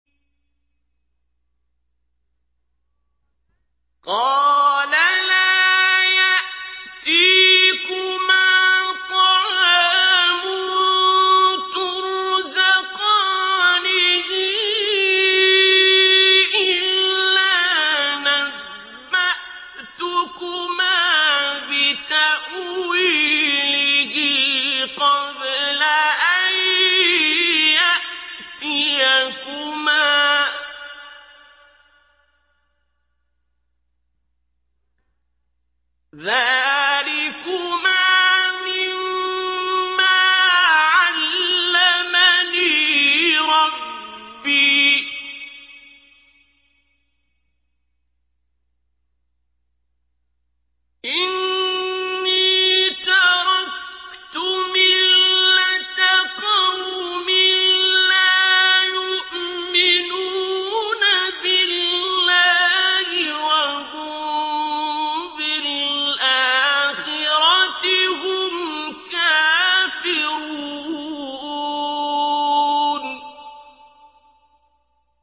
قَالَ لَا يَأْتِيكُمَا طَعَامٌ تُرْزَقَانِهِ إِلَّا نَبَّأْتُكُمَا بِتَأْوِيلِهِ قَبْلَ أَن يَأْتِيَكُمَا ۚ ذَٰلِكُمَا مِمَّا عَلَّمَنِي رَبِّي ۚ إِنِّي تَرَكْتُ مِلَّةَ قَوْمٍ لَّا يُؤْمِنُونَ بِاللَّهِ وَهُم بِالْآخِرَةِ هُمْ كَافِرُونَ